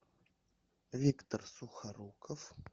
виктор сухоруков